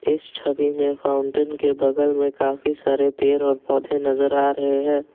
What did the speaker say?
इस छवि में फाउंटेन के बगल में काफी सारे पेर और पौधे नजर आ रहे हैं।